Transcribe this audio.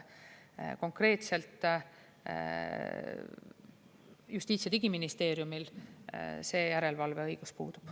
Konkreetselt Justiits‑ ja Digiministeeriumil see järelevalve õigus puudub.